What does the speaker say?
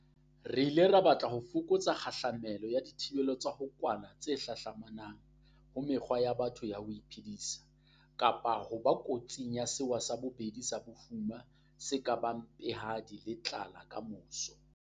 Re ile ra batla ho fokotsa kgahla melo ya dithibelo tsa ho kwala tse hlahlamanang ho mekgwa ya batho ya ho iphedisa, kapa ho ba kotsing ya sewa sa bobedi sa bofuma se ka bang mpehadi le tlala kamoso.